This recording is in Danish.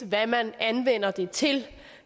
hvad man anvender dem til